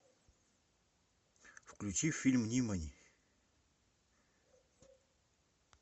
включи фильм нимани